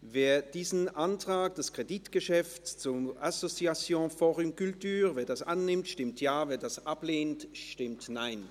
Wer dieses Kreditgeschäft annehmen will, stimmt Ja, wer es ablehnt, stimmt Nein.